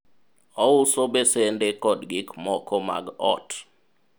ouso besende kod gik moko mag ot